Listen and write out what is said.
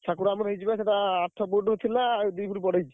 ଠାକୁର ଆମର ହେଇଛି ବା ସେଇଟା ଆଠ foot ଥିଲା ଆଉ ଦି foot ବଢେଇଛି।